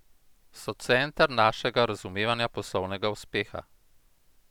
So center našega razumevanja poslovnega uspeha.